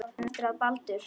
En eftir að Baldur.